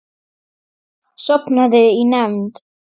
Sofnaði í nefnd.